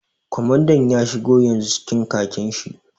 Kwamandan ya shigo yanzu cikin khakin shi